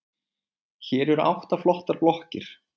Hér eru átta flottar blokkir.